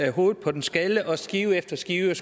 af hovedet på en skaldet og skære skive efter skive